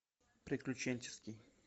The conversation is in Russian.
приключенческий